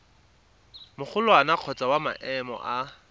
magolwane kgotsa wa maemo a